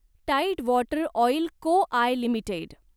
tied Water Oil Co I limited